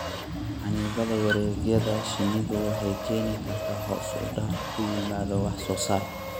Xannibaadda wareegyada shinnidu waxay keeni kartaa hoos u dhac ku yimaada wax soo saarka.